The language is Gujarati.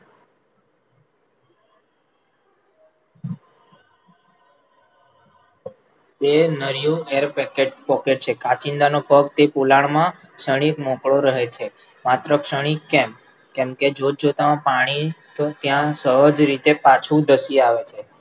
તે નર્યું air packet, pocket છે, કાંચિડાનો પગથી પોલાણમાં ક્ષણિક મોકળો રહે છે, માત્ર ક્ષણિક કેમ? કેમ કે જોતજોતામાં પાણી સહજ રીતે પછી ધસી આવે છે,